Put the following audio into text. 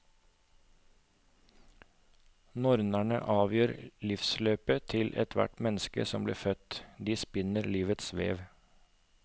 Nornene avgjør livsløpet til hvert menneske som blir født, de spinner livets vev.